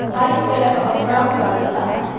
White colour और brown colour का है।